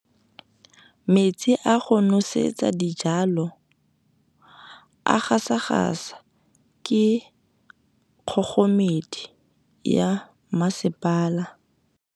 Metsi a go nosetsa dijalo a gasa gasa ke kgogomedi ya masepala.